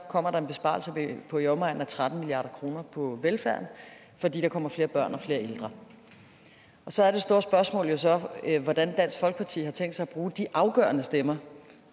kommer der en besparelse på i omegnen af tretten milliard kroner på velfærden fordi der kommer flere børn og flere ældre så er det store spørgsmål jo så hvordan dansk folkeparti har tænkt sig at bruge de afgørende stemmer